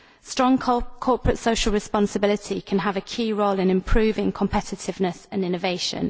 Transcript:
Strong corporate social responsibility can have a key role in improving competitiveness and innovation.